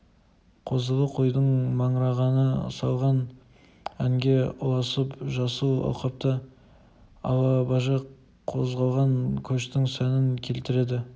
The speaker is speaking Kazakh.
қозылы қойдың маңырағаны салған әнге ұласып жасыл алқапта алабажақ қозғалған көштің сәнін келтіреді